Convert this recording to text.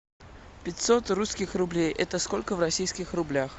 пятьсот русских рублей это сколько в российских рублях